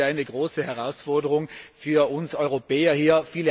Das ist ja eine große Herausforderung für uns Europäer hier.